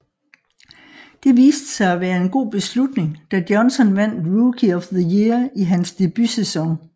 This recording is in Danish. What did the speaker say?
Det viste sig at være en god beslutning da Johnson vandt Rookie of the Year i hans debutsæson